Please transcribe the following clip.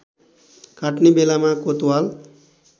काट्ने बेलामा कोतवाल